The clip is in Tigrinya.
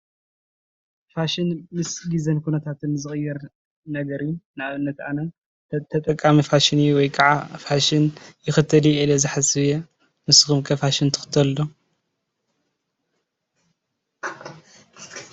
ፋሽን ምስ ግዜን ኩነታትን ዝቅየር ነገር እዩ ንኣብነት ኣነ ተጠቃሚ ፋሽን እዩ ወይከዓ ፋሽን ይኽተል እየ ኢለ ዝሓስብ እየ። ንስኹም ከ ፋሽን ትኽተሉ ዶ?